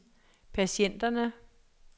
patienterne